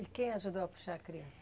E quem ajudou a puxar a criança?